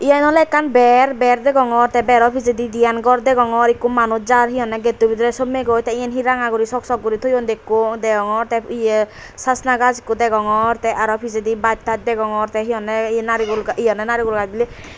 yen oley ekkan ber ber degongor tey bero pijedi diyen gor degongor ikko manuj jar he honney getto bidirey sommegoi tey iyen he ranga guri sok sok guri toyon dekko degongor tey ye sasna gaaj ikko degongor tey aro pijedi baas taas degongor tey he honney ye naregul ga neragal gaaj biley.